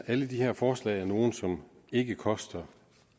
alle de her forslag er nogle som ikke koster